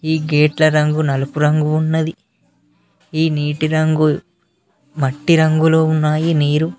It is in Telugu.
ఈ గేట్ల రంగు నలుపు రంగు ఉన్నది ఈ నీటి రంగుల్ మట్టి రంగులో ఉన్నాయి నీరు.